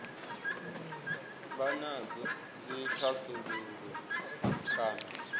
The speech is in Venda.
vha nadzo dzi thasululwe kana